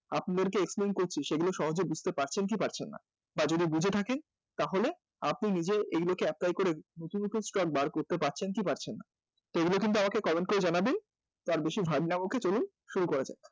আপনাদেরকে explain করছি সেগুলো সহজে বুঝতে পারছেন কী পারছেন না? বা যদি বুঝে থাকেন তাহলে আপনি নিজে এগুলোকে apply করে নতুন নতুন stock বের করতে পারছেন কী পারছেন না? তো এগুলো কিন্তু আমাকে comment করে জানাবেন, আর বেশি ভাট না বকে চলুন শুরু করা যাক